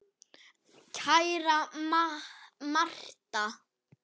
Kæra Martha.